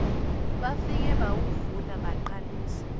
bafike bawuvula baqalisa